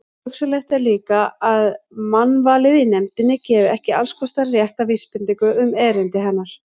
Hugsanlegt er líka, að mannvalið í nefndinni gefi ekki allskostar rétta vísbendingu um erindi hennar.